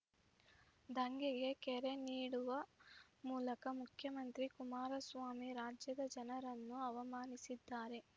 ದಂಗೆಗೆ ಕರೆ ನೀಡುವ ಮೂಲಕ ಮುಖ್ಯಮಂತ್ರಿ ಕುಮಾರಸ್ವಾಮಿ ರಾಜ್ಯದ ಜನರನ್ನು ಅವಮಾನಿಸಿದ್ದಾರೆ